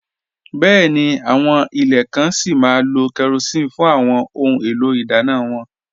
Bẹ́ẹ̀ni, àwọn ilẹ̀ kàn sí má lò kérosín fún àwọn ọ̀hun èlò idànna wọn